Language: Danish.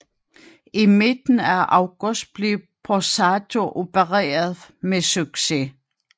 I midten af august blev Borsato opereret med succes